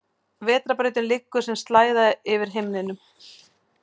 Vetrarbrautin liggur sem slæða yfir himinninn.